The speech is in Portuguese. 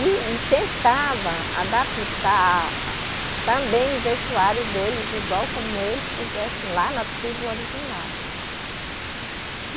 E, e tentava adaptar a também o vestuário deles igual como eles se vestem lá na tribo original.